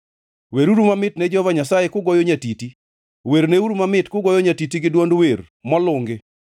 weruru mamit ne Jehova Nyasaye kugoyo nyatiti; werneuru mamit kugoyo nyatiti gi dwond wer molungi,